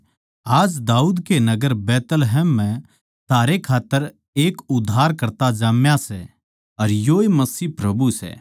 के आज दाऊद कै नगर बैतलहम म्ह थारै खात्तर एक उद्धारकर्ता जाम्या सै अर योए मसीह प्रभु सै